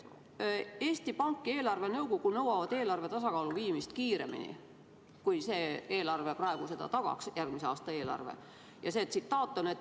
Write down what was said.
Eesti Pank ja eelarvenõukogu nõuavad eelarve tasakaalu viimist kiiremini, kui järgmise aasta eelarve praegu seda tagaks.